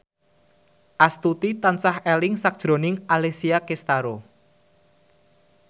Astuti tansah eling sakjroning Alessia Cestaro